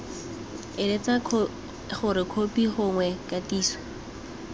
eletsa gore khopi gongwe kgatiso